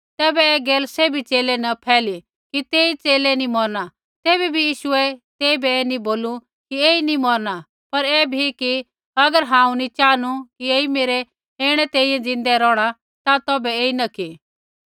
तैबै ऐ गैल सैभी च़ेले न फैली कि तेई च़ेले नी मौरणा तैबै भी यीशुऐ तेइबै ऐ नी बोलू कि ऐई नी मौरणा पर ऐ भी कि अगर हांऊँ नी चाहनु कि ऐई मेरै ऐणै तैंईंयैं ज़िन्दा रौहणा ता तौभै ऐईन कि